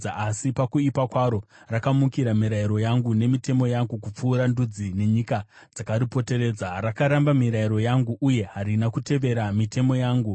Asi pakuipa kwaro rakamukira mirayiro yangu nemitemo yangu kupfuura ndudzi nenyika dzakaripoteredza. Rakaramba mirayiro yangu uye harina kutevera mitemo yangu.